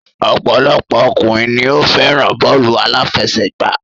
Ọ̀pọ̀lọpọ̀ ọkùnrin ni o fẹ́ràn bọ́ọ̀lù àláfẹsẹ̀gbá.